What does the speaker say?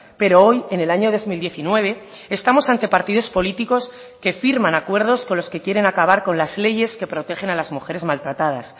pero hoy en el año dos mil diecinueve estamos ante partidos políticos que firman acuerdos con los que quieren acabar con las leyes que protegen a las mujeres maltratadas